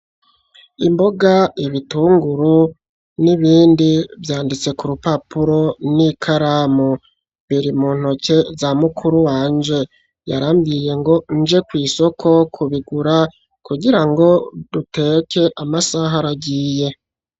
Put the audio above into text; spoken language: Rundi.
Imboga ibitunguru n'ibindi vyanditse ku rupapuro n'i karamu biri mu ntoke za mukuru wanje yarambwiye ngo nje kw'isoko kubigura kugira ngo duteke amasaha aragiye.